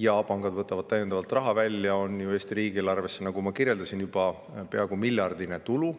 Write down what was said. ja pangad võtavad täiendavalt raha välja, on ju Eesti riigieelarvesse, nagu ma kirjeldasin, juba peaaegu miljardiline tulu.